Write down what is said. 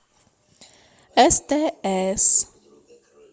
стс